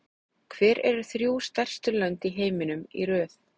Hver eru þrjú stærstu lönd í heiminum í röð?